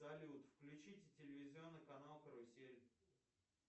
салют включите телевизионный канал карусель